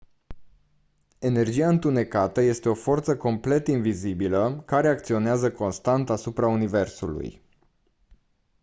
energia întunecată este o forță complet invizibilă care acționează constant asupra universului